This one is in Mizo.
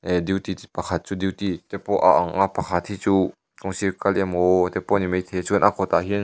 ehh duty pakhat chu duty te pawh a ang a pakhat hi chu kawng sir kal emaw te pawh ani mai thei a chuan a kawt ah hian --